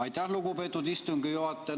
Aitäh, lugupeetud istungi juhataja!